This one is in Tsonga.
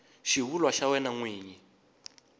xivulwa xa wena n wini